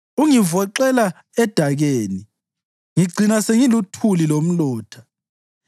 Ungivoxela edakeni, ngicina sengiluthuli lomlotha.